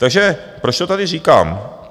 Takže proč to tady říkám?